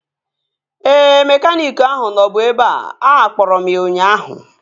Ee, mekaniiki ahụ nọbu ebea. Akpọrọ m ya ụnyaahụ